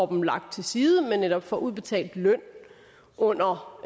dem lagt til side men netop får udbetalt løn under